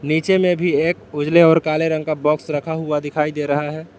नीचे में भी एक उजले और काले रंग का बॉक्स रखा हुआ दिखाई दे रहा है।